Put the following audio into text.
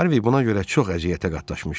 Harvi buna görə çox əziyyətə qatlaşmışdı.